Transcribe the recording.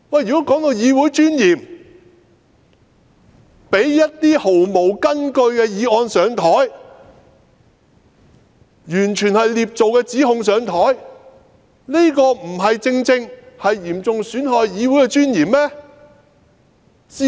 說到議會尊嚴，讓一些毫無根據的議案提交議會討論、完全是捏造的指控提交議會討論，這不正正嚴重損害議會的尊嚴嗎？